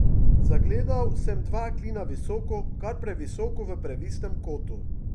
Zagledal sem dva klina visoko, kar previsoko v previsnem kotu.